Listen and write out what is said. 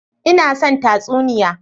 Ina son tatsuniya.